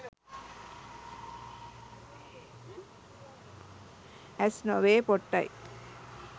ඇස් නොවේ පොට්ටයි.